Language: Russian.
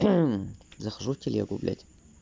захожу в телегу блядь